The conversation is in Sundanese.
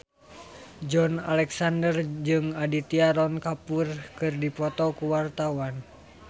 Joey Alexander jeung Aditya Roy Kapoor keur dipoto ku wartawan